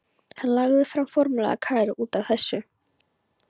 Hann lagði fram formlega kæru út af þessu.